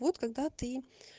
вот когда ты